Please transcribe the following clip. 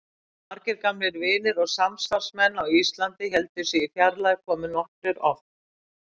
Þótt margir gamlir vinir og samstarfsmenn á Íslandi héldu sig í fjarlægð komu nokkrir oft.